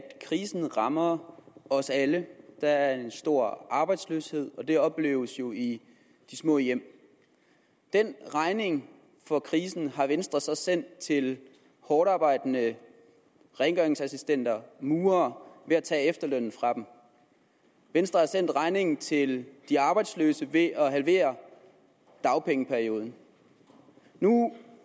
krisen rammer os alle der er en stor arbejdsløshed og det opleves jo i de små hjem den regning for krisen har venstre så sendt til hårdtarbejdende rengøringsassistenter og murere ved at tage efterlønnen fra dem venstre har sendt regningen til de arbejdsløse ved at halvere dagpengeperioden nu